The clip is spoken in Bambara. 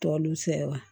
Tɔ olu fɛ wa